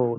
हो